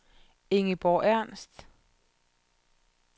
Ingeborg Ernst